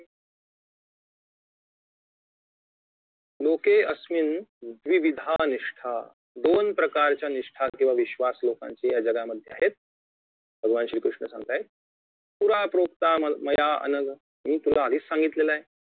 लोकेस्मिनद्विविधा निष्ठा दोन प्रकारच्या निष्ठा किंवा विश्वास लोकांची या जगामधे आहेत भगवान श्री कृष्ण सांगतायेत पुरा प्रोक्ता म मयानघ मी तुला आधीच सांगितलेलय